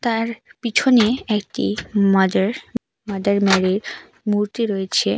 তার পিছনে একটি মাজার মাদার মেরির মূর্তি রয়েছে।